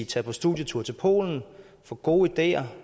tag på studietur til polen få gode ideer